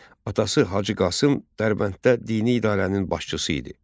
Atası Hacı Qasım Dərbənddə dini idarənin başçısı idi.